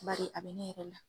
Bari a be ne yɛrɛ la.